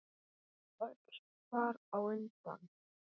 Og öll þar á undan.